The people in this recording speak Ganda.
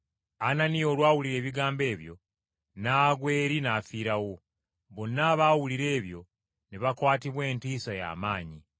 Ananiya olwawulira ebigambo ebyo n’agwa eri n’afiirawo! Bonna abaawulira ebyo ne bakwatibwa entiisa ya maanyi.